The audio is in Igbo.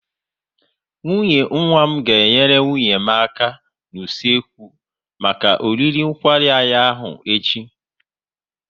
Nwunye nwa m ga enyere nwunye m aka n'usekwu maka oriri nkwari anyị ahụ echi